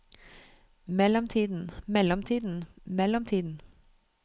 mellomtiden mellomtiden mellomtiden